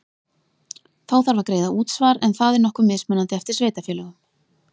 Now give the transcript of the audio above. Þá þarf að greiða útsvar en það er nokkuð mismunandi eftir sveitarfélögum.